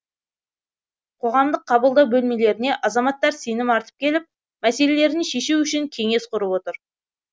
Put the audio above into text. қоғамдық қабылдау бөлмелеріне азаматтар сенім артып келіп мәселелерін шешу үшін кеңес құрып отыр